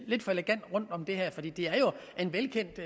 er jo en velkendt